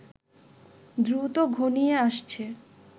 দ্রুত ঘনিয়ে আসছে